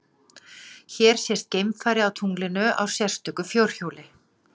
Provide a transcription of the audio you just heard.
Hér sést geimfari á tunglinu á sérstöku fjórhjóli.